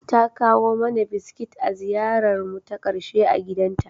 Ta kawo mana biskit a ziyararmu ta ƙarshe a gidanta.